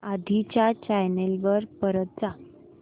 आधी च्या चॅनल वर परत जा